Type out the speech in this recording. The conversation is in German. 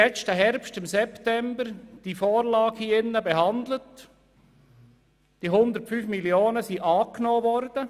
Im letzten September haben wir diese Vorlage hier im Grossen Rat behandelt und den 105 Mio. Franken zugestimmt.